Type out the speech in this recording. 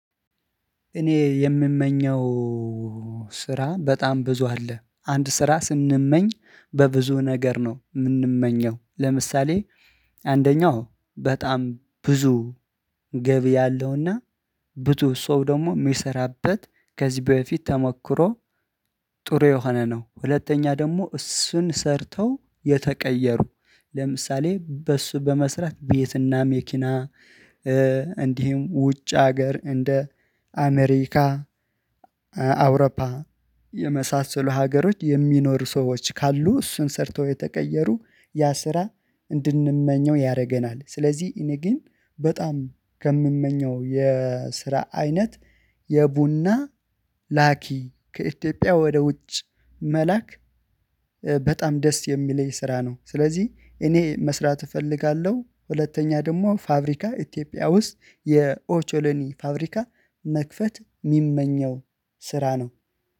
እኔ የምመኘው ስራ በጣም ብዙ አለ አንድ ስራ ስንመኝ በብዙ ነገር ነው የምንመኘው። ለምሳሌ አንደኛው በጣም ብዙ ገቢ ያለውና ብዙ ሰው ደግሞ የሚሰራበት ከዚህ በፊት ተሞክሮ ጥሩ የሆነ ነው። ሁለተኛ ደግሞ እሱን ሰርተው የተቀየሩ ለምሳሌ በሱ በመስራት ቤትና መኪና እንዲህም ውጭ ሀገር እንደ አሜሪካ አውሮፓ የመሳሰሉ ሀገሮች የሚኖሩ ሰዎች ካሉ እሱን ሰርተው የተቀየሩ ያ ስራ እንድንመኘው ያደርገናል። ስለዚህ እኔ ግን በጣም ከምመኘው የስራ አይነት የቡና ላኪ ከኢትዮጵያ ወደ ውጭ መላክ በጣም ደስ የሚለኝ ስራ ነው። ስለዚህ እኔ መስራት እፈልጋለሁ ሁለተኛ ደግሞ ፋብሪካ ኢትዮጵያ ውስጥ የኦቾሌኒ ፋብሪካ መክፈት የሚመኘው ስራ ነው